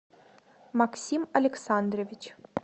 максим александрович